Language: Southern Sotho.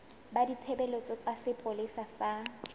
ba ditshebeletso tsa sepolesa sa